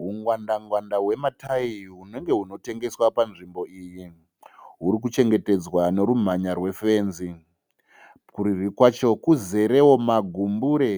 Hwungwanda ngwanda hwematayi hunenge hunotengeswa panzvimbo iyi. Rwuri kuchengetedzwa nerumhanya rwefenzi. Kurudyi kwacho kuzerewo magumbure